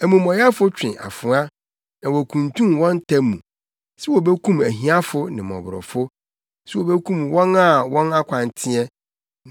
Amumɔyɛfo twe afoa na wokuntun wɔn ta mu sɛ wobekum ahiafo ne mmɔborɔfo, sɛ wobekum wɔn a wɔn akwan teɛ.